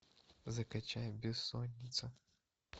закачай бессонница